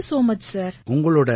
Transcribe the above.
thank you so much sir